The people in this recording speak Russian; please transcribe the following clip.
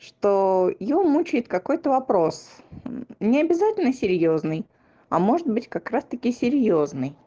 что её мучает какой-то вопрос необязательно серьёзный а может быть как раз таки серьёзный